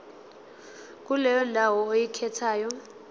kuleyo ndawo oyikhethayo